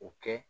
O kɛ